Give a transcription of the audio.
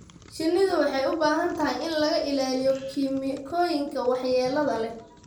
Shinnidu waxay u baahan tahay in laga ilaaliyo kiimikooyinka waxyeelada leh.